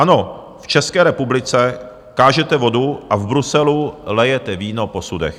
Ano, v České republice kážete vodu, a v Bruselu lijete víno po sudech.